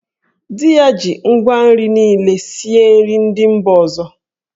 Di ya ji ngwa nri niile sie nri ndị mba ọzọ.